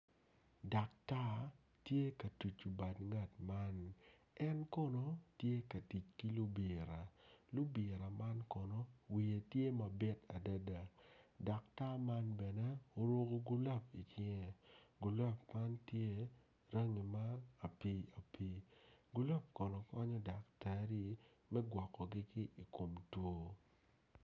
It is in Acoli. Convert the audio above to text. Daktar tye ka tucu bad ngat man en kono tye ka tic ki lubira lubira man kono wiye tye mabit adada daktar man bene oruku gulap icinge gulap man tye rangi ma apii apii gulap kono konyo daktari me gwokkogi ki i kom two